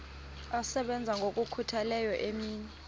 asebenza ngokokhutheleyo imini